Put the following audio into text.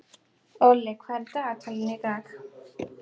Olli, hvað er í dagatalinu í dag?